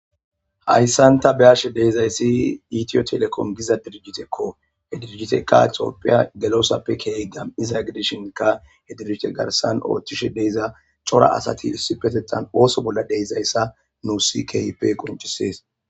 Haysan ta beyashe dizaysi ethiotelecom Giza dirkiteko he dirjiteyka tophiya gelosappe kehi gam'iza gidishinka he dirjite garsan oothishe de'iza cora asati issipetethan ooso bolla de'izaysa nusi keehippe qon issues.